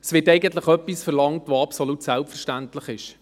Es wird eigentlich etwas verlangt, das absolut selbstverständlich ist.